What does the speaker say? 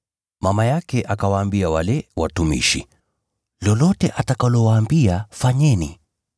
Mama yake akawaambia wale watumishi, “Lolote atakalowaambia, fanyeni.”